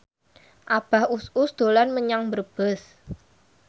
Abah Us Us dolan menyang Brebes